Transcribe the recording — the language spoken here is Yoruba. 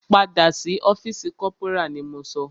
Padà sí ọ́fìsì corporal ni mo sọ!